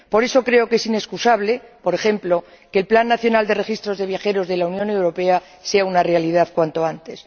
Por eso, creo que es inexcusable, por ejemplo, que el plan nacional de registro de viajeros de la Unión Europea sea una realidad cuanto antes.